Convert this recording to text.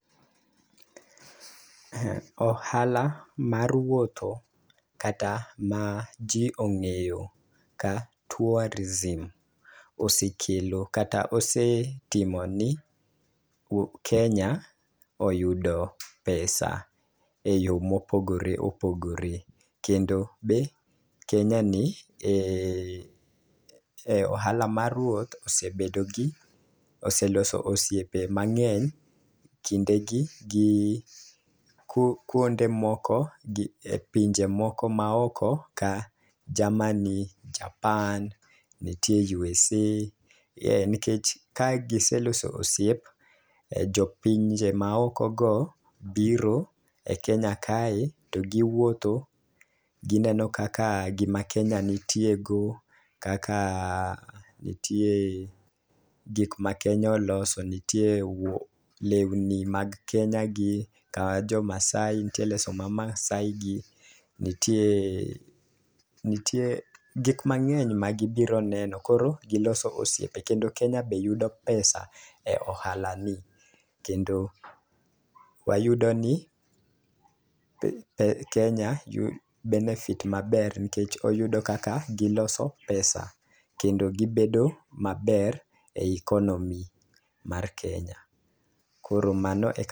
Ohala mar wuotho kata ma ji ong'eyo ka tourism osekelo kata osetimo ni Kenya oyudo pesa e yo mopogore opogore. Kendo be Kenya ni e e ohala mar wuoth osebedo gi oseloso osiepe mang'eny kinde gi gi ku kuonde moko gi e pinje moko ma oko ka Germany, Japan, nitie USA. E nikech ka gise loso osiep, jo pinje ma oko go biro e Kenya kae to giwuotho. Gineno kaka gima Kenya nitie go kaka nitie gik ma Kenya oloso. Nitie lewni mag Kenya gi, ka jo Maasai nitie leso ma Masai gi. Nitie, nitie gik mang'eny ma gibiro neno koro giloso osiepe. Kendo Kenya be yudo pesa e ohala ni, kendo wayudo ni Kenya benefit maber nikech oyudo kaka giloso pesa. Kendo gibedo maber e ikonomi mar Kenya, koro mano ek.